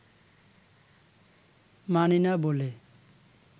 মানি না বলে